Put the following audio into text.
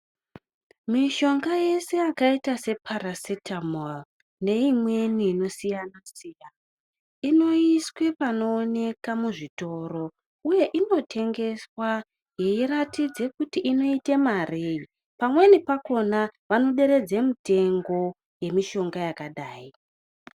Mishonga yese yakaita separasetamo neimweni inosiyana siyana inoiswe panooneka muzvitoro uye inotengeswa yeiratidze kuti inoite marei. Pamweni pakona vanoderedze mutengo yemishonga yakadai.